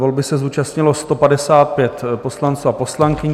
Volby se zúčastnilo 155 poslanců a poslankyň.